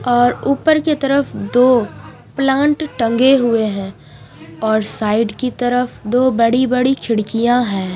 और ऊपर की तरफ दो प्लांट टंगे हुए हैं और साइड की तरफ दो बड़ी बड़ी खिड़कियां हैं।